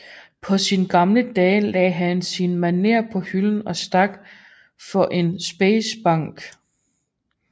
På sine gamle dage lagde han sin manér på hylden og stak for Speciesbanken